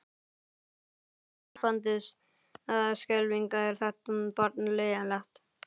Mikið lifandis skelfing er þetta barn leiðinlegt.